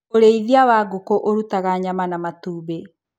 ũrĩithia wa ngũkũ ũrutaga nyama na matumbĩ.